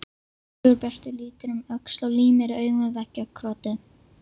Sigurbjartur lítur um öxl og límir augun við veggjakrotið.